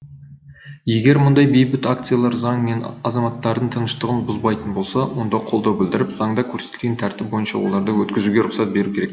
егер мұндай бейбіт акциялар заң мен азаматтардың тыныштығын бұзбайтын болса онда қолдау білдіріп заңда көрсетілген тәртіп бойынша оларды өткізуге рұқсат беру керек